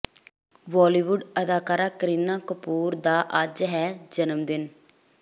ਬਾਲੀਵੁੱਡ ਅਦਾਕਾਰਾ ਕਰੀਨਾ ਕਪੂਰ ਦਾ ਅੱਜ ਹੈ ਜਨਮ ਦਿਨ